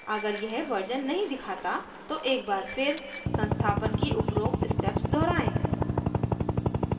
अगर यह वर्जन नहीं दिखाता तो एक बार फिर संस्थापन की उपरोक्त स्टेप्स दोहराएं